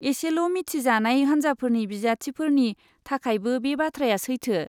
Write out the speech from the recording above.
एसेल' मिथिजानाय हान्जाफोरनि बिजाथिफोरनि थाखायबो बे बाथ्राया सैथो।